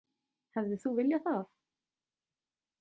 Hefðir þú viljað það?